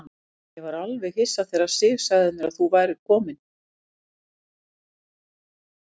Ég var alveg hissa þegar Sif sagði mér að þú værir kominn.